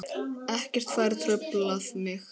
Ekkert fær truflað mig.